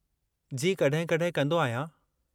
जी, कॾहिं-कॾहिं कंदो आहियां।